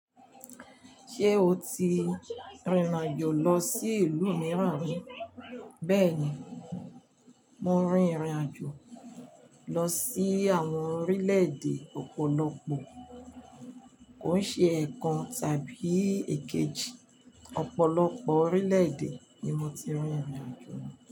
Ṣé o ti rìnrìn àjò lọ sí ìlú mìíràn rí? Bẹ́ẹ̀ni, mo rin ìrìn àjò lọ sí àwọn orílẹ̀-èdè ọ̀pọ̀lọpọ̀. Kòn ṣe ẹ̀ẹ̀kan tàbí èkejì. Ọ̀pọ̀lọpọ̀ orílẹ̀-èdè ni mo ti rìnrìn àjò lọ.